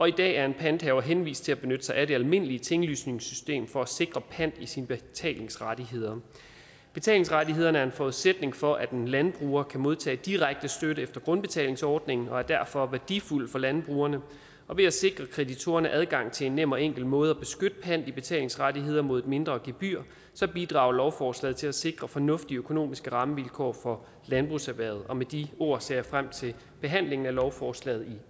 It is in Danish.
i dag er en panthaver henvist til at benytte sig af det almindelige tinglysningssystemet for at sikre pant i sine betalingsrettigheder betalingsrettighederne er en forudsætning for at en landbruger kan modtage direkte støtte efter grundbetalingsordningen og er derfor værdifulde for landbrugerne ved at sikre kreditorerne adgang til en nem og enkel måde at beskytte pant i betalingsrettigheder på mod et mindre gebyr bidrager lovforslaget til at sikre fornuftige økonomiske rammevilkår for landbrugserhvervet og med de ord ser jeg frem til behandlingen af lovforslaget